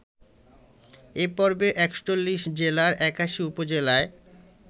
এ পর্বে ৪১ জেলার ৮১ উপজেলায়